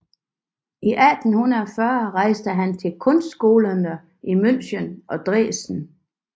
I 1840 rejste han til kunstskolerne i München og Dresden